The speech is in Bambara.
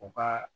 U ka